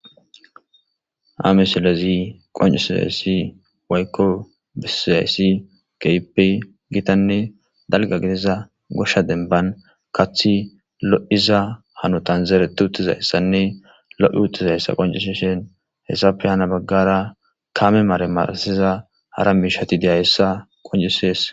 Amesilezi qoncisizayssi waykko bisiyayssi keypey gitanne dalga gidiza goshsha denban kaththi lo7iza hanotan zeereti utizayssanne lo7i utizayssa qoncisi shen hessape hana baggara kame mare marasiza hara miishati deya hessa qoncisees.